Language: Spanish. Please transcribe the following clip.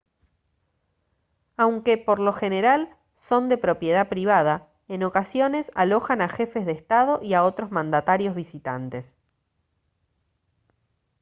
aunque por lo general son de propiedad privada en ocasiones alojan a jefes de estado y a otros mandatarios visitantes